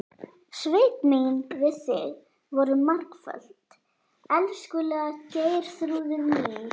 Svik mín við þig voru margföld, elskulega Geirþrúður mín.